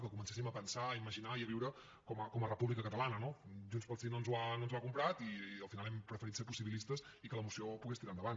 que comencéssim a pensar a imaginar i a viure com a república catalana no junts pel sí no ens ho ha comprat i al final hem preferit ser possibilistes i que la moció pogués tirar endavant